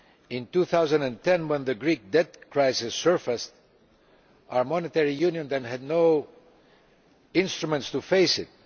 In 2010, when the Greek debt crisis surfaced, our monetary union had no instruments with which to face it.